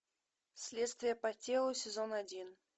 следствие по телу сезон один